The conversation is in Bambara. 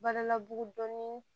Bana labugu dɔɔnin